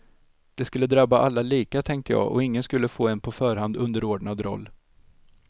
Det skulle drabba alla lika, tänkte jag och ingen skulle få en på förhand underordnad roll.